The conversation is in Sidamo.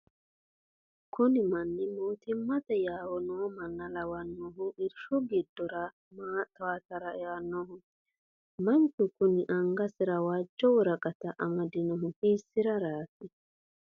kuni manni mootimmate yawo noo manna lawannohu irshu giddora maa towaatara einoho? manchu kuni angasira woojjo woraqata amadinohu hiissaraati ?